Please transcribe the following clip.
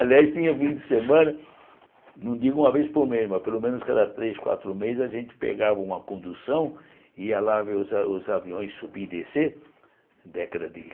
Aliás, tinha fim de semana, não digo uma vez por mês, mas pelo menos cada três, quatro meses a gente pegava uma condução e ia lá ver os a os aviões subir e descer, década de